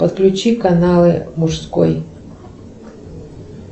подключи каналы мужской